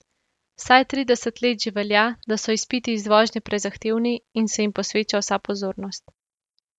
Vsaj trideset let že velja, da so izpiti iz vožnje prezahtevni in se jim posveča vsa pozornost.